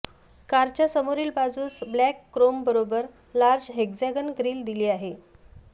कारच्या समोरील बाजूस ब्लॅक क्रोमबरोबर लार्ज हेक्सागन ग्रिल दिली आहे